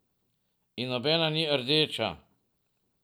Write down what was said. In nobena ni rdeča.